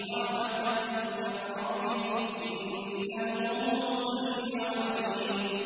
رَحْمَةً مِّن رَّبِّكَ ۚ إِنَّهُ هُوَ السَّمِيعُ الْعَلِيمُ